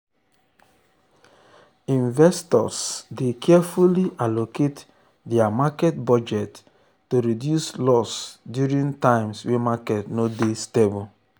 investors dey carefully allocate dia market budget to reduce loss during times wey market no dey stable.